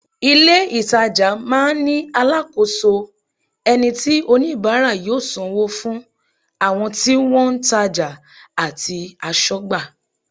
Ìlé-ìtajà máa ń ní alákòóso, ẹni tí oníbàárà yóò sanwó fún, àwọn tí wọ́n ń tajà àti aṣọ́gbà